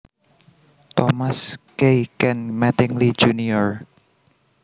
Thomas K Ken Mattingly Jr